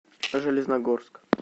железногорск